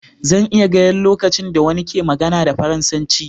Zan iya gaya lokacin da wani ke magana da Faransanci.